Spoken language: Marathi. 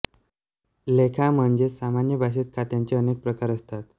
लेखा म्हणजेच सामान्य भाषेत खात्यांचे अनेक प्रकार असतात